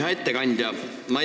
Hea ettekandja!